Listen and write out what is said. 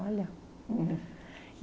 Olha! É